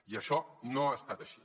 i això no ha estat així